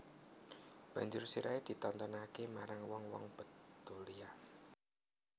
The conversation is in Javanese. Banjur sirahé ditontonaké marang wong wong Betulia